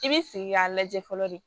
I bi sigi k'a lajɛ fɔlɔ de